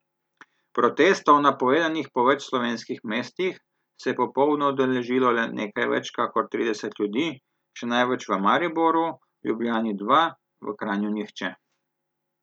Protestov, napovedanih po več slovenskih mestih, se je popoldne udeležilo le nekaj več kakor trideset ljudi, še največ v Mariboru, v Ljubljani dva, v Kranju nihče.